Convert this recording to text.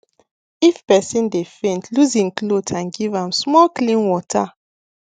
if person dey faint loose hin cloth and give am small clean water